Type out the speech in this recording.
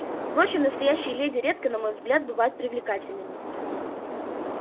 впрочем настоящие леди редко на мой взгляд бывают привлекательными